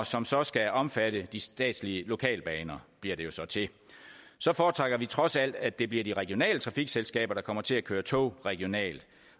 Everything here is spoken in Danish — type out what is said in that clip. som så skal omfatte de statslige lokalbaner bliver det jo så til så foretrækker vi trods alt at det bliver de regionale trafikselskaber der kommer til at køre tog regionalt